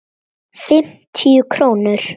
Fimmtíu krónur?